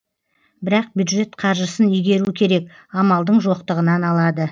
бірақ бюджет қаржысын игеру керек амалдың жоқтығынан алады